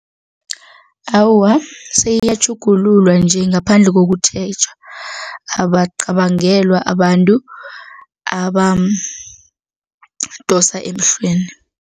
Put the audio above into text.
Awa, seyiyatjhugululwa nje ngaphandle kokutjheja, abaqabangelwa abantu abadosa emhlweni.